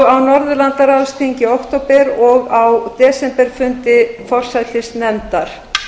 á norðurlandaráðsþingi í október og á desemberfundi forsætisnefndar